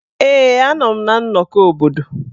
Ee, a nọ m na nnọkọ obodo.